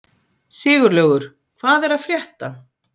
Siglaugur, hvað er að frétta?